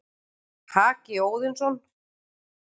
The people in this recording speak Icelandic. Haki Óðinsson,